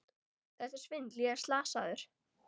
Þetta er svindl, ég er slasaður!